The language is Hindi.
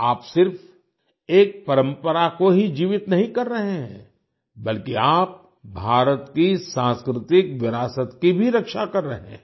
आप सिर्फ एक परंपरा को ही जीवित नहीं कर रहे हैं बल्कि आप भारत की सांस्कृतिक विरासत की भी रक्षा भी कर रहे हैं